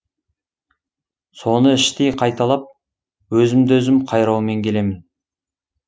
соны іштей қайталап өзімді өзім қайраумен келемін